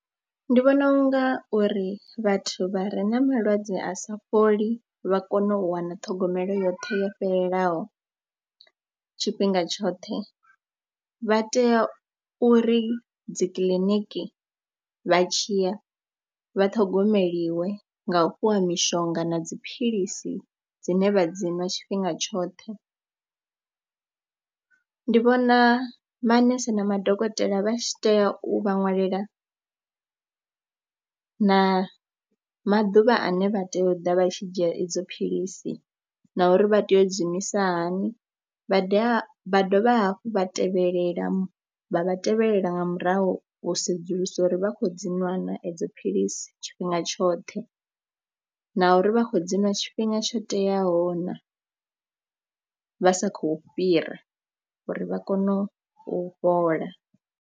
Ndi vhona u nga uri vhathu vha re na malwadze a sa fholi vha kone u wana ṱhogomelo yoṱhe yo fhelelaho tshifhinga tshoṱhe, vha tea uri dzikiḽiniki vha tshi ya vha ṱhogomeliwa nga u fhiwa mishonga na dziphilisi dzine vha dzi nwa tshifhinga tshoṱhe. Ndi vhona manese na madokotela vha tshi tea u vha ṅwalela na maḓuvha ane vha tea u ḓa vha tshi dzhia idzo philisi na uri vha tea u dzi iṅwisa hani. Vha dovha vha dovha hafhu vha tevhelela vha tevhelela nga murahu u sedzulisa uri vha khou dzi nwana edzo philisi tshifhinga tshoṱhe na uri vha khou dzi ṅwa tshifhinga tsho teaho na vha sa khou fhira uri vha kone u fhola.